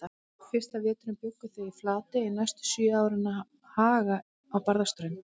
Fyrsta veturinn bjuggu þau í Flatey en næstu sjö árin að Haga á Barðaströnd.